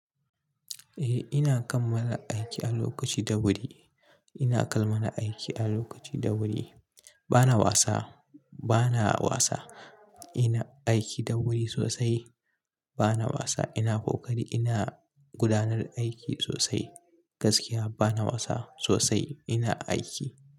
Eh ina kammala aiki a lokaci da wuri, ina kammala aiki a lokaci da wuri. Bana wasa, bana wasa. Ina aiki da wuri sosai. Bana wasa, ina kokari ina gudanar da aiki sosai gaskiya bana wasa sosai ina aiki.